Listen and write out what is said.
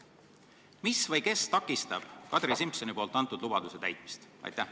Mis või kes takistab Kadri Simsoni antud lubaduse täitmist?